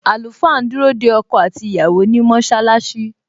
Àlùfáà ń dúró de ọkọ àti ìyàwó ni mọṣálásí